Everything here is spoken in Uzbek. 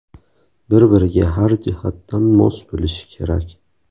Bir-biriga har jihatdan mos bo‘lishi kerak.